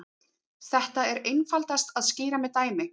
Þetta er einfaldast að skýra með dæmi.